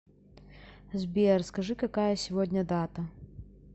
сбер скажи какая сегодня дата